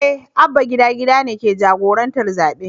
Eh Abba gida gida ne ke jagorantar zaɓen.